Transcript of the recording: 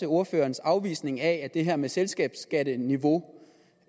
ordførerens afvisning af at det her med selskabsskatteniveau